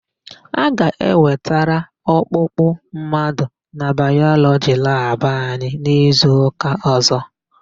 A ga-ewetara ọkpụkpụ mmadụ na Bayọlọgi labụ anyị n'izuụka ọ̀zọ́.